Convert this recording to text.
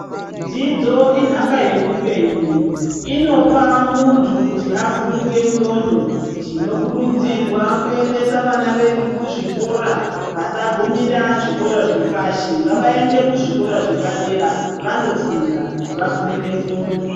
Dzidzo inhaka ye upenyu inopa muntu kuti avhurike ndxondo tino kurudzirwa kuendesa vana vedu ku zvikora vasa kumigara ku zvikora zvepashi ngava ende ku zvikora zve padera vando funda va vhurike ndxondo.